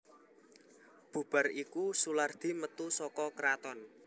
Bubar iku Soelardi metu saka kraton